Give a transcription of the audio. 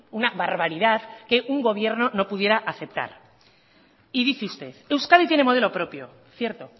una barbaridad que un gobierno no pudiera aceptar y dice usted euskadi tiene modelo propio cierto